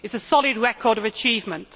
It is a solid record of achievement.